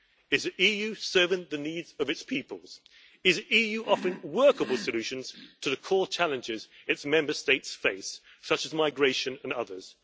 Is the EU serving the needs of its peoples? Is the EU offering workable solutions to the core challenges its Member States face, such as migration and others?